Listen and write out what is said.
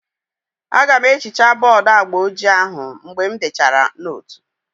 Aga m ehichaa bọọdu agba ojii ahụ mgbe m dechara nootu